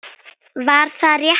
Var það réttur dómur?